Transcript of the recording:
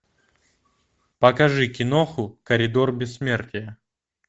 покажи киноху коридор бессмертия